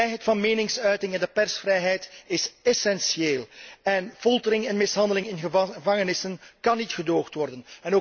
De vrijheid van meningsuiting en de persvrijheid zijn essentieel en foltering en mishandeling in gevangenissen kan niet gedoogd worden.